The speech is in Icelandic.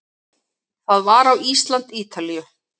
Það var á Ísland- Ítalíu